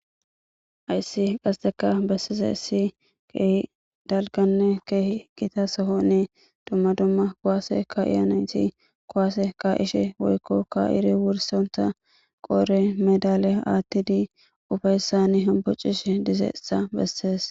Hayisi qasse besidayisi daligane kehi gitta soohoni duma duma kuwase kayiya nayiti kuwase kayishe woyiko kayiri wuristha qodheni madaliya athidi ufayissa bessesi